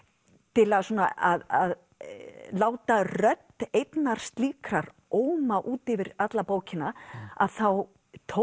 til að láta rödd einnar slíkrar óma út yfir alla bókina að þá tók